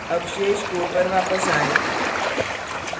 अब शेष code पर वापस आएँ